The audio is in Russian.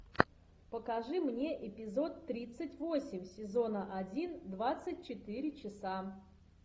покажи мне эпизод тридцать восемь сезона один двадцать четыре часа